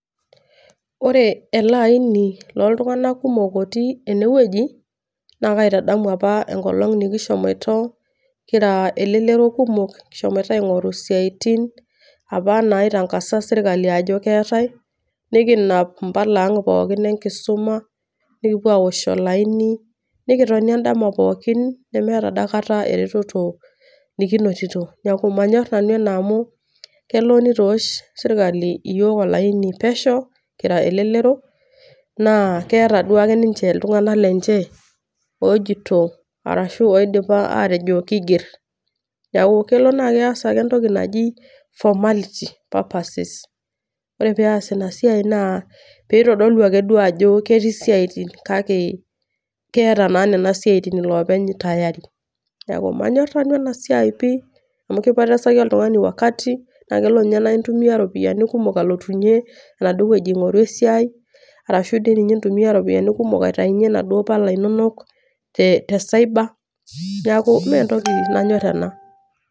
Ore ele aini loltung'anak kumok otii enewueji, na kaitadamu apa enkolong nikishomoito kira elelero kumok, kishomoita aing'oru isiaitin, apa naitangasa serkali ajo keetae, nikinap impala ang' pookin enkisuma, nikipuo awosh olaini, nikitoni edama pookin, nemeeta dakata ereteto nikinotito. Neeku manyor nanu ena amu, kelo nitoosh sirkali iyiok olaini pesho, kira elelero, naa keeta duake ninche iltung'anak lenche, ojito arashu oidipa atejo kiiger. Neeku kelo naa kees ake entoki naji formality purposes. Ore peas inasiai naa, pitodolu ake duo ajo ketii isiaitin, kake keeta na nena siaitin ilopeny tayari. Neeku, manyor nanu enasiai pi, amu kipotesaki oltung'ani wakati, na kelo nye na intumia ropiyaiani kumok alotunye, enaduo wueji aing'oru esiai, arashu dinye intumia iropiyiani kumok aitaunye naduo pala inonok te cyber. Neeku mentoki nanyor ena.